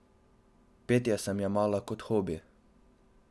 Petje sem jemala kot hobi.